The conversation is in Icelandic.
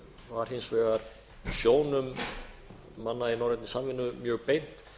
var hins vegar sjónum manna í norrænni samvinnu mjög beint